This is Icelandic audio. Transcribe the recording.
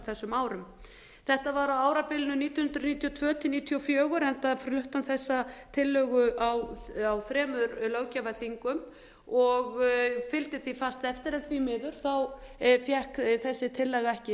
þessum árum þetta var á árabilinu nítján hundruð níutíu og tvö til nítján hundruð níutíu og fjögur enda flutti hann þessa tillögu á þremur löggjafarþingum og fylgdi því fast eftir en því miður fékk þessi tillaga ekki